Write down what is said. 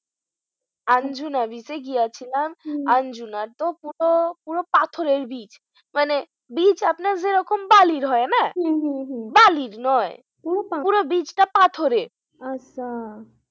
Anjuna beach এ গিয়েছিলাম হম Anjuna র তো পুরো, পুরো পাথরের beach মানে beach আপনার যেরকম বালির হয়না হম হম হম বালির নয় পুরো beach টা পাথরের আচ্ছা